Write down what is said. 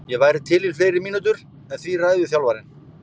Ég væri til í fleiri mínútur en því ræður þjálfarinn.